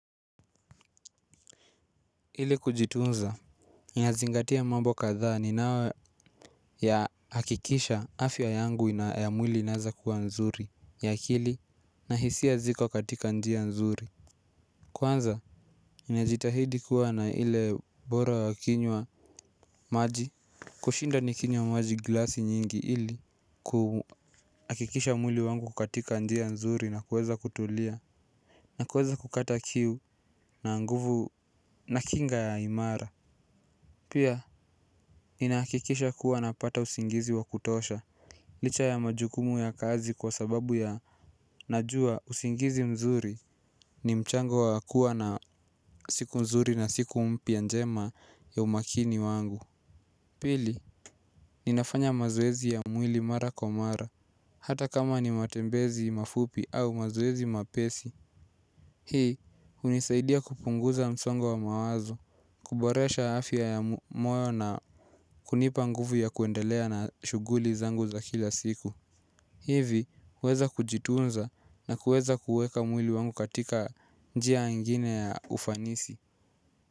Ili kujitunza, ninazingatia mambo kadhaa ninayoyahakikisha afya yangu ya mwili inaeza kuwa nzuri ya akili na hisia ziko katika njia nzuri Kwanza, ninajitahidi kuwa na ile bora ya kinywa maji kushinda nikinywa maji glasi nyingi ili kuhakikisha mwili wangu katika njia nzuri na kuweza kutulia na kuweza kukata kiu na nguvu na kinga ya imara Pia, ninakikisha kuwa napata usingizi wa kutosha licha ya majukumu ya kazi kwa sababu ya najua usingizi mzuri ni mchango wakuwa na siku nzuri na siku mpya njema ya umakini wangu Pili, ni nafanya mazoezi ya mwili mara kwa mara hata kama ni matembezi mafupi au mazoezi mepesi hii, hunisaidia kupunguza msongo wa mawazo kuboresha afya ya moyo na kunipa nguvu ya kuendelea na shuguli zangu za kila siku hivi kuweza kujitunza na kuweza kueka mwili wangu katika njia ingine ya ufanisi.